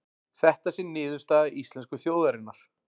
Þetta sé niðurstaða íslensku þjóðarinnar